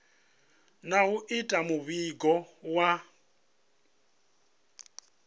na u ita muvhigo wa